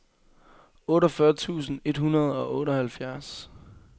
otteogfyrre tusind et hundrede og otteoghalvfjerds